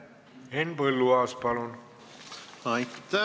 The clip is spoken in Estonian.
Henn Põlluaas, palun!